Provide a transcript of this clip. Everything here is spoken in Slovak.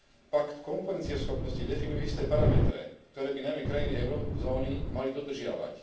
Pakt konkurencieschopnosti definuje isté parametre, ktoré by najmä krajiny eurozóny mali dodržiavať.